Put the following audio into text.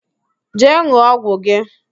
Jee n̄ụọ ọgwụ gị!